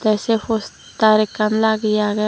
te say poster ekkan lageye agey.